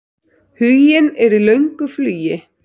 Huginn er í löngu flugi.